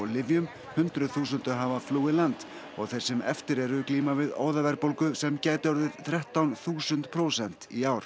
lyfjum hundruð þúsunda hafa flúið land og þeir sem eftir eru glíma við óðaverðbólgu sem gæti orðið þrettán þúsund prósent í ár